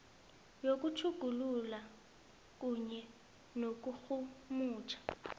yokutjhugulula kunye nokurhumutjha